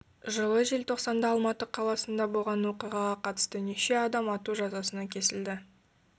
жылы желтоқсанда алматы қаласында болған оқиғаға қатысты неше адам ату жазасына кесілді